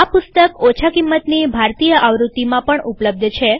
આ પુસ્તક ઓછા કિંમતની ભારતીય આવૃત્તિમાં પણ ઉપલબ્ધ છે